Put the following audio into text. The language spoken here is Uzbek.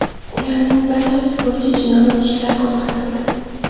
Ularning barchasi bo‘yicha jinoiy ishlar qo‘zg‘atildi.